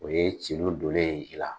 O ye celu donen ye i la.